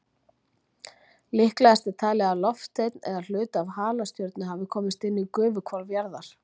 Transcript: Líklegast er talið að loftsteinn eða hluti af halastjörnu hafi komist inn í gufuhvolf jarðar.